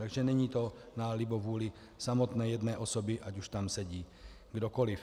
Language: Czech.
Takže to není na libovůli samotné jedné osoby, ať už tam sedí kdokoliv.